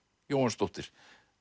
Jóhannsdóttir